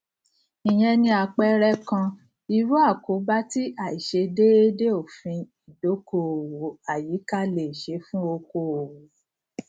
ìyẹn ni àpẹẹrẹ kan irú àkóbá tí àìṣedéédé òfin ìdókòòwò àyíká lè ṣe fún okòòwò